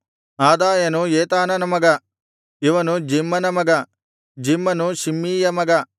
ಅದಾಯನು ಏತಾನನ ಮಗ ಇವನು ಜಿಮ್ಮನ ಮಗ ಜಿಮ್ಮನು ಶಿಮ್ಮೀಯ ಮಗ